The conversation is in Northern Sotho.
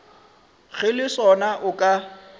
ge le sona o ka